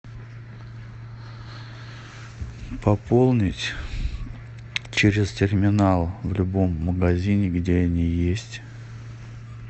пополнить через терминал в любом магазине где они есть